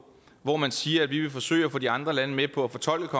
hvor man siger at vi vil forsøge at få de andre lande med på at fortolke